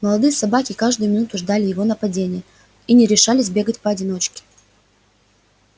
молодые собаки каждую минуту ждали его нападения и не решались бегать поодиночке